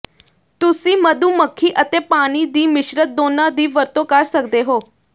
ਤੁਸੀਂ ਮਧੂ ਮੱਖੀ ਅਤੇ ਪਾਣੀ ਦੀ ਮਿਸ਼ਰਤ ਦੋਨਾਂ ਦੀ ਵਰਤੋਂ ਕਰ ਸਕਦੇ ਹੋ